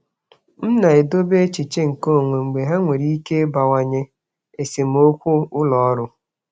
Ana m edobe echiche onwe m n'ezoghị ọnụ mgbe ha nwere ike ịkpalite esemokwu ụlọ ọrụ.